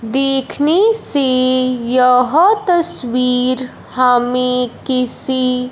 देखने से यह तस्वीर हमें किसी--